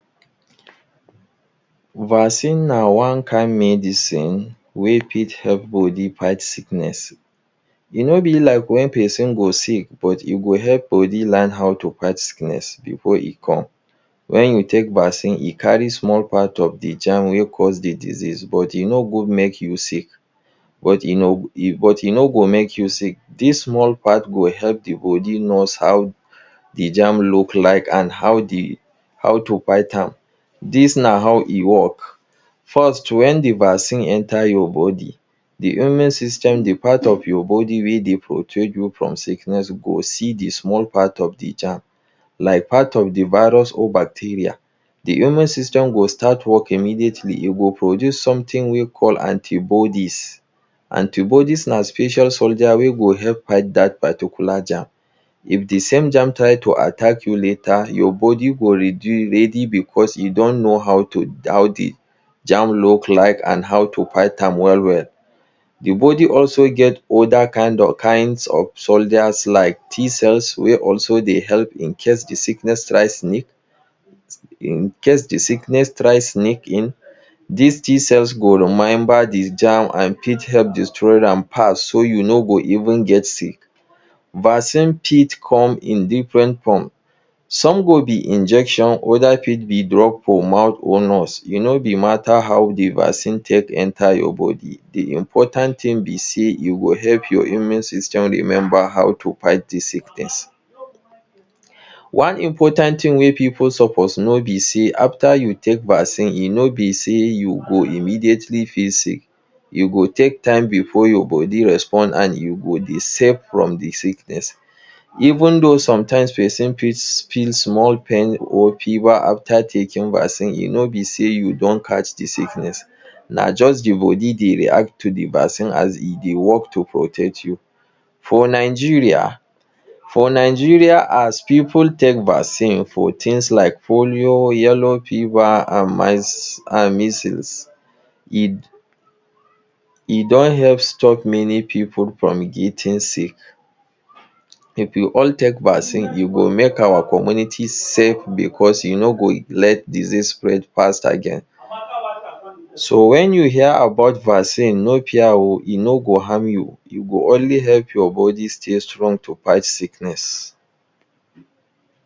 Vaccine na one kind medicine wey fit help body fight sickness e no be like when person go sick but e go help body learn how to fight Sickness before e come when you take vaccine e carry small part of de germ wey cause de disease but e no go make you sick but e no go make you sick this small part go help de body knows how to how de germ look like and how de how to bite am this na how e work first when de vaccine enter your body de human system de part of your body wey dey protect you from sickness go see de small part of de germ like part of de virus or bacteria de human system go start work immediately you go produce something wey call antibodies. antibodies na special soldiers wey go help fight that particular germ if de same germ try to attack you later your body go ready because im don know how to how de germ look like and how to fight am well well de body also get other kind kinds of soldiers like t cells wey also dey help in case de sickness try sneak in case de sickness try sneak in this t cells go remember de germ and fit help destroy am fast so you no go even get sick vaccine fit come in different form some go be injection other fit be drug for mouth or nose e no dey matter how de vaccine take enter your body de important thing be sey you go help your immune system remember how to fight this sickness. one important thing wey people suppose know be sey after you take vaccine e no be sey you go immediately feel sick you go take time before your body responds an you go dey safe from de sickness even though sometimes person fit feel small pain or fever after taking de vaccine e no be sey you don catch de sickness na just your body dey react to de vaccine as e dey work to protect you for Nigeria for Nigeria as people take vaccine for things like polio yellow fever and measles e don help stop many people from getting sick if you all take vaccine you go make our community safe because you no go let disease spread fast again so when you hear about vaccine no fear oh. e no go harm you e go only help your body stay strong to fight sickness.